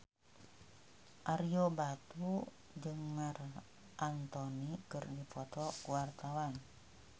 Ario Batu jeung Marc Anthony keur dipoto ku wartawan